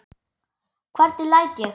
Hvernig læt ég!